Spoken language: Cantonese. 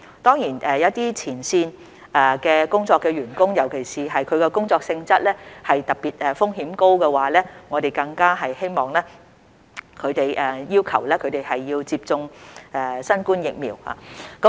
當然，一些在前線工作的員工，特別是其工作性質的風險特別高時，我們更加會要求他們必須接種新冠疫苗。